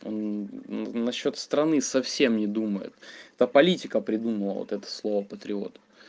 на счёт страны совсем не думают то политика придумал вот это слово патриот